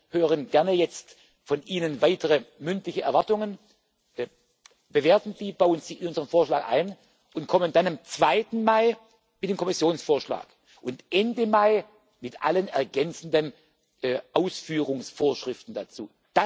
Vorarbeit. Wir hören gerne von Ihnen weitere mündliche Erwartungen, bewerten sie, bauen sie in unseren Vorschlag ein und kommen dann am 2. Mai mit dem Kommissionsvorschlag und Ende Mai mit allen ergänzenden Ausführungsvorschriften